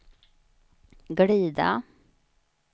glida